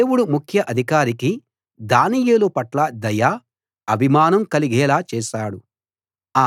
దేవుడు ముఖ్య అధికారికి దానియేలు పట్ల దయ అభిమానం కలిగేలా చేశాడు